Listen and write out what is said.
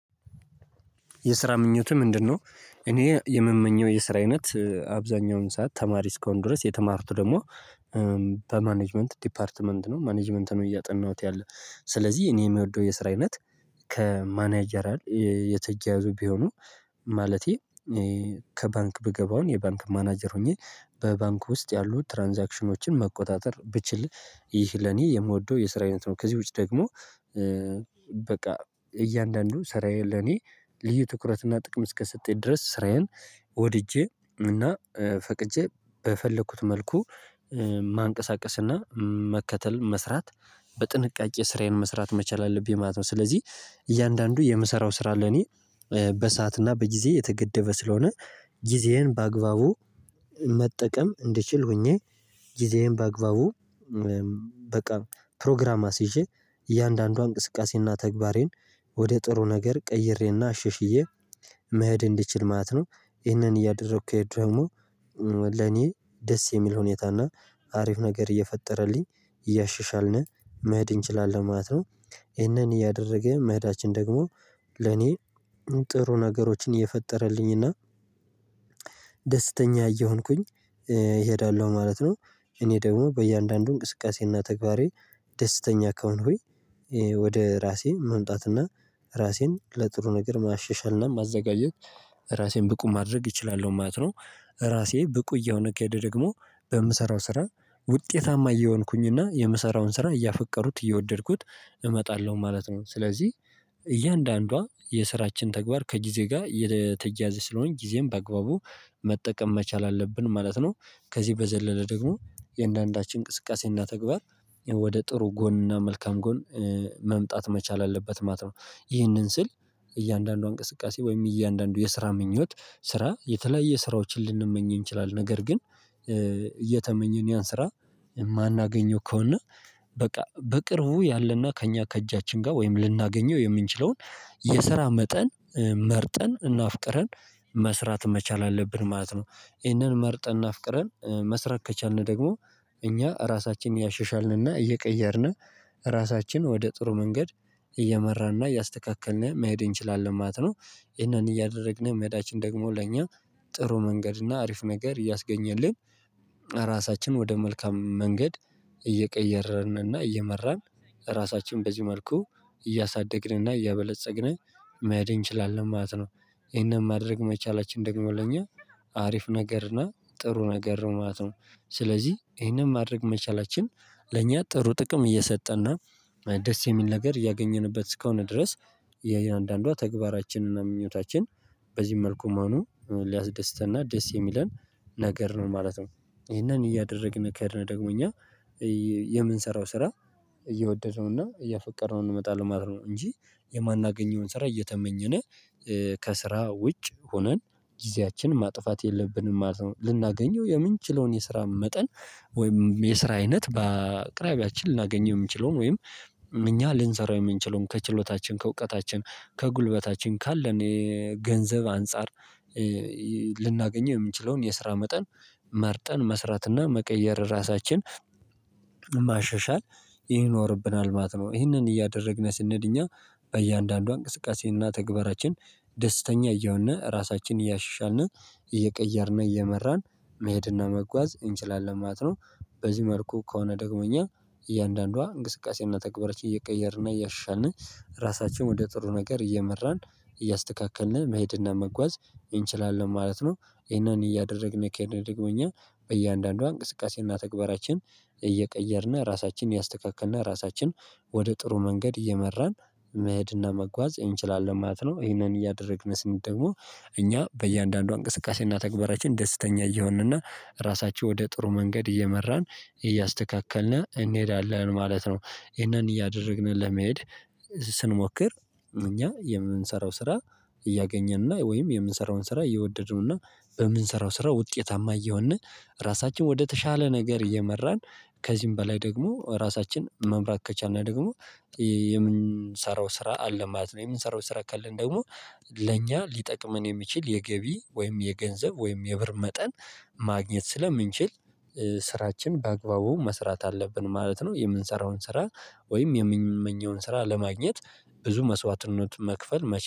የስራ ምኞትህ ምንድነው? እኔ የምመኘው የስራ አይነት አብዛኛውን ሰዓት ተማሪ እስከሆን ድረስ የተማሩት ደግሞ በማኔጅመንት ዲፓርትመንት ነው ማኔጅመንትን እያጠናሁት ያለው። ስለዚህ እኔ የምወደው የስራ አይነት ከማኔጀራል የተያያዙ ቢሆኑ። ማለቴ ከባንክ ብገባው የባንክ ማናጀር ሆኜ በባንክ ውስጥ ያሉ ትራንዛክሽኖችን መቆጣጠር ብችል ይህ ለኔ የምወደው የስራ አይነት ነው። ከዚህ ውጪ ደግሞ በቃ እያንዳንዱ ስራዬ ለኔ ልዩ ትኩረትና ጥቅም እስከሰጠኝ ድረስ ስራዬን። ወድጄ እና ፈቅጄ በፈለኩት መልኩ ማንቀሳቀስና መከተል መስራት በጥንቃቄ ስራዬን መስራት መቻል አለብኝ ማለት ነው። ስለዚህ እያንዳንዱ የምሰራው ስራ ለኔ በሰአት እና በጊዜ የተገደበ ስለሆነ ጊዜዬን በአግባቡ መጠቀም እንድችል ሆኜ ጊዜዬን በአግባቡ። በቃ ፕሮግራም አስይዤ እያንዳንዱ እንቅስቃሴና ተግባሬን ወደ ጥሩ ነገር ቀይሬና አሻሽዬ መሄድ እንድችል ማለት ነው። ይህንን እያደረኩ ከሄድኩ ደግሞ ለኔ ደስ የሚል ሁኔታና አሪፍ ነገር እየፈጠረልኝ እያሻሻልን መሄድ እንችላለን ማለት ነው። ይህንን እያደረግን መህዳችን ደግሞ ለኔ ጥሩ ነገሮችን እየፈጠረልኝና ደስተኛ እየሆንኩኝ እሄዳለሁ ማለት ነው። እኔ ደግሞ በእያንዳንዱ እንቅስቃሴና ተግባሬ ደስተኛ ከሆንኩኝ ወይ ወደ ራሴ መምጣትና ራሴን ለጥሩ ነገር ማሸሻልና ማዘጋጀት ራሴን ብቁ ማድረግ እችላለሁ ማለት ነው። ራሴ ብቁ እየሆንኩ ከሄድኩ ደግሞ በምሰራው ስራ ውጤታማ እየሆንኩኝና የምሰራውን ስራ እያፈቀሩት እየወደድኩት እመጣለሁ ማለት ነው። ስለዚህ እያንዳንዷ የስራችን ተግባር ከጊዜ ጋር የተያያዘ ስለሆነ ጊዜን በአግባቡ መጠቀም መቻል አለብን ማለት ነው። ከዚህ በዘለለ ደግሞ የእያንዳንዳችን እንቅስቃሴና ተግባር ወደ ጥሩ ጎንና መልካም ጎን መምጣት መቻል አለበት ማለት ነው። ይህንን ስል እያንዳንዱ እንቅስቃሴ ወይም እያንዳንዱ የስራ ምኞት ስራ የተለያየ ስራዎችን ልንመኘን ይችላል ነገር ግን እየተመኘን ያን ስራ የማናገኘው ከሆነ በቃ በቅርቡ ያለና ከእኛ ከእጃችን ጋር ወይም ልናገኘው የምንችለውን የሰራ መጠን መርጠን እና አፍቅረን መስራት መቻል አለብን ማለት ነው። ይህንን መርጠን እና አፍቅረን መስራት ከቻልን ደግሞ እኛ ራሳችን እያሸሻልን እና እየቀየርን ራሳችን ወደ ጥሩ መንገድ እየመራንና እያስተካከልን መሄድ እንችላለን ማለት ነው። ይሄንን እያደረግን መሄዳችን ደግሞ ለእኛ ጥሩ መንገድ እና አሪፍ ነገር እያስገኘልን ራሳችንን ወደ መልካም መንገድ እየቀየረንንና እየመራን ራሳችን በዚህ መልኩ እያሳደግንና እያበለፀግን መሄድ እንችላለን ማለት ነው። ይሄንን ማድረግ መቻላችን ደግሞ ለኛ አሪፍ ነገርና ጥሩ ነገር ማለት ነው። ስለዚህ ይሄንን ማድረግ መቻላችን ለኛ ጥሩ ጥቅም እየሰጠና ደስ የሚል ነገር እያገኘንበት እስከሆነ ድረስ የአንዳንዷ ተግባራችንና ምኞታችን በዚህ መልኩ መሆኑ ሊያስደስተንና ደስ የሚለን ነገር ነው ማለት ነው። ይህንን እያደረግን ከሄድነ ደግሞ እኛ የምንሰራው ስራ እየወደደነው እና እያፈቀርነው እንመጣለን ማለት ነው። እንጂ የማናገኘውን ስራ እየተመኘነ ከስራ ውጭ ሆነን ጊዜያችን ማጥፋት የለብንም ማለት ነው። ልናገኘው የምንችለውን የስራ መጠን ወይም የስራ አይነት በአቅራቢያችን ልናገኝ የምንችለውን ወይም እኛ ልንሰራው የምንችለውን ከችሎታችን ከእውቀታችን ከጉልበታችን ካለን ገንዘብ አንፃር ልናገኝ የምንችለውን የስራ መጠን መርጠን መስራትና መቀየር ራሳችን ማሸሻል ይኖርብናል ማለት ነው። ይህንን እያደረግነ ስንሄድ እኛ በእያንዳንዱ እንቅስቃሴና ተግባራችን ደስተኛ እየሆንነ ራሳችንን እያሻሻልን እየቀየርን እየመራን መሄድና መጓዝ እንችላለን ማለት ነው። በዚህ መልኩ ከሆነ ደግሞ እኛ እያንዳንዷ እንቅስቃሴና ተግባራችን እየቀየርን እያሻሻልን ራሳችን ወደ ጥሩ ነገር እየመራን እያስተካከልን መሄድና መጓዝ እንችላለን ማለት ነው። ይሄንን እያደረግን ከሄድነ ደግሞ እኛ በእያንዳንዷ እንቅስቃሴና ተግባራችን እየቀየርን ራሳችንን እያስተካክልን ራሳችን ወደ ጥሩ መንገድ እየመራን መህድና መጓዝ እንችላለን ማለት ነው። ይሄንን እያደረግን ስንሄድ ደግሞ እኛ በእያንዳንዷ እንቅስቃሴና ተግባራችን ደስተኛ እየሆንንና ራሳቸው ወደ ጥሩ መንገድ እየመራን እያስተካከልን እንሄዳለን ማለት ነው። ይሄንን እያደረግን ለመሄድ ስንሞክር እኛ የምንሰራው ስራ እያገኘን እና ወይም የምንሰራውን ስራ እየወደድነው እና በምንሰራው ስራ ውጤታማ እየሆንን ራሳችን ወደተሻለ ነገር እየመራን ከዚህም በላይ ደግሞ ራሳችን መምራት ከቻልን እና ደግሞ የምንሰራው ስራ አለ ማለት ነው። የምንሰራው ስራ ካለን ደግሞ ለእኛ ሊጠቅመን የሚችል የገቢ ወይም የገንዘብ ወይም የብር መጠን ማግኘት ስለምንችል ስራችን በአግባቡ መስራት አለብን ማለት ነው። የምንሰራውን ስራ ወይም የምንመኘውን ስራ ለማግኘት ብዙ መስዋዕትነት መክፈል መቼ